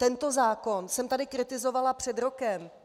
Tento zákon jsem tady kritizovala před rokem.